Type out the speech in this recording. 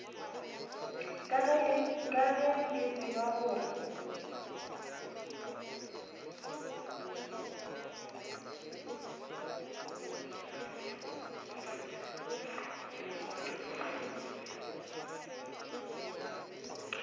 ka ge le tseba gore